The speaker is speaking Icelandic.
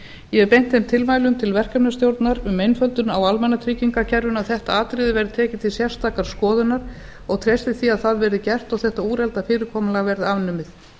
ég hef beint þeim tilmælum til verkefnisstjórnar um einföldun á almannatryggingakerfinu að þetta atriði verði tekið til sérstakrar skoðunar og treysti því að það verði gert og þetta úrelta fyrirkomulag verði afnumið